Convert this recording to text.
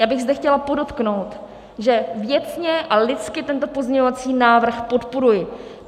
Já bych zde chtěla podotknout, že věcně a lidsky tento pozměňovací návrh podporuji.